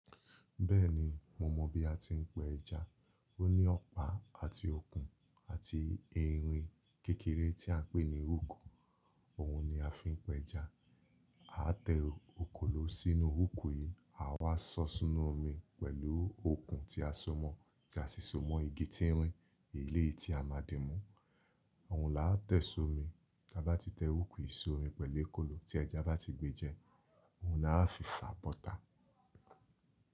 Bẹ́ẹ̀ni, mo mọ̀ bí a ti ń pa ẹja. Ó ní ọ̀pá àti okùn àti irin kékeré tí a ń pè ní hook, òhun ni a fi ń pẹ'ẹja. A tẹ òkòló sínú hook yìí, à wa sọ̀ sínú omi pẹ̀lú okùn tí a so mọ́, tí a sì so mọ́ igi tínrín, èlé yìí tí a máa dín mú. Òun là á tẹ̀ sí omi, tí a bá ti tẹ hook yìí sí omi pẹ̀lú okòló, tí ẹja bá ti gbé jẹ, òun là á fi fà bọ́ta.